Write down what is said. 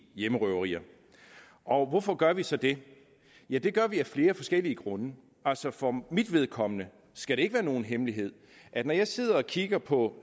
hjemmerøverier og hvorfor gør vi så det ja det gør vi af flere forskellige grunde altså for mit vedkommende skal det ikke være nogen hemmelighed at når jeg sidder og kigger på